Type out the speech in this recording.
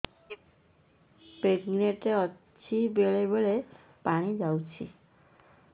pregnant ଅଛି ବେଳେ ବେଳେ ପାଣି ଯାଉଛି